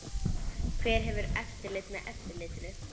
Hver hefur eftirlit með eftirlitinu?